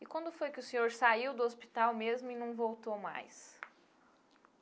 E quando foi que o senhor saiu do hospital mesmo e não voltou mais?